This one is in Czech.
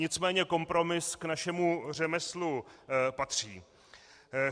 Nicméně kompromis k našemu řemeslu patří.